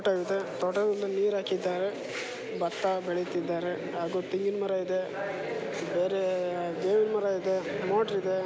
ತೋಟದಲ್ಲಿ ನೀರ್ ಹಾಕಿದ್ದಾರೆ. ಭತ್ತ ಬೆಳಿತ್ತಿದ್ದಾರೆ ಹಾಗೂ ತೆಂಗಿನಮರ ಇದೆ ಬೇರೇ ಬೇವಿನ ಮರ ಇದೆ ಮೋಟ್ರು ಇದೆ.